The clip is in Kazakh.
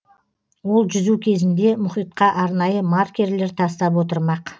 ол жүзу кезінде мұхитқа арнайы маркерлер тастап отырмақ